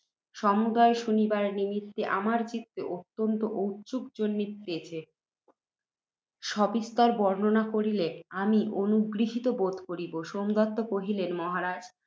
সমুদয় শুনিবার নিমিত্তে, আমার চিত্তে, অত্যন্ত ঔৎসুক্য জন্মিতেছে, সবিস্তর বর্ণন করিলে, আমি অনুগৃহীত বোধ করিব। সোমদত্ত কহিলেন, মহারাজ!